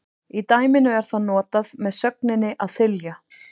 Í dæminu er það notað með sögninni að þylja.